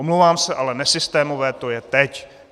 Omlouvám se, ale nesystémové to je teď.